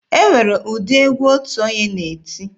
E nwere ụdị egwu otu onye na-eti.